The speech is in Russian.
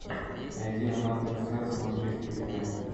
найди онлайн трансляцию манчестер юнайтед